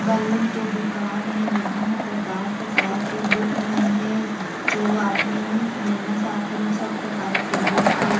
Balloon के दुकान हे विभिन प्रकार - प्रकार के बुक मन हे जो आपमन लेना चाहथन वो सब प्रकार के बुक हे।